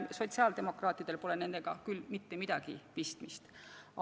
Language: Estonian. Sotsiaaldemokraatidel pole nendega küll mitte midagi pistmist.